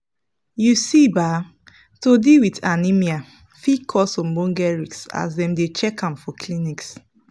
you see ba to deal with anemia fit cause ogboge risks as dem dey check am for clinics